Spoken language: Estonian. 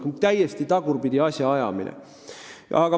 See on täiesti tagurpidi asjaajamine.